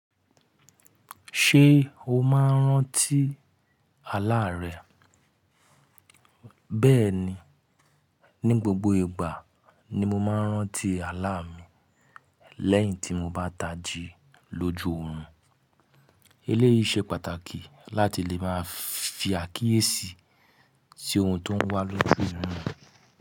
Ṣé o máa ń rántí àlá rẹ? Bẹ́ẹ̀ni, ní gbogbo ìgbà ni mo máa ń rántí àlá mi lẹ́yìn tí mo bá tají lójú orun. Eléyìí ṣe pàtàkì láti lè máa fi àkíyèsí sí ohun tó ń wá lójú orun.